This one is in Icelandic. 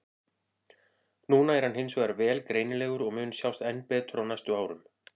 Núna er hann hins vegar vel greinilegur og mun sjást enn betur á næstu árum.